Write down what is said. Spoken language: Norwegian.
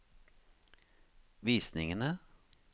visningene